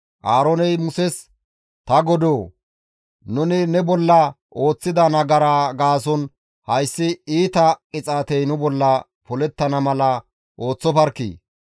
Aarooney Muses, «Ta godoo! Nuni ne bolla ooththida nagaraa gaason hayssi iita qixaatey nu bolla polettana mala ooththofarkkii!